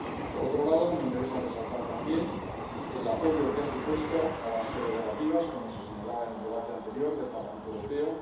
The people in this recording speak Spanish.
Por otro lado, me interesa resaltar también el apoyo que ha supuesto a las prerrogativas, como se señalaba en el debate anterior del Parlamento Europeo.